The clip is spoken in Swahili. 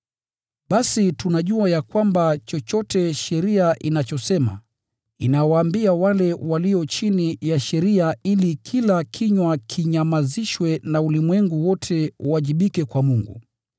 Basi tunajua ya kwamba chochote sheria inachosema, inawaambia wale walio chini ya sheria ili kila kinywa kinyamazishwe na ulimwengu wote uwajibike kwa Mungu.